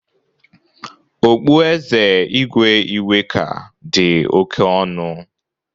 Ọkpụeze Igwe Iweka dị oke ọnụ.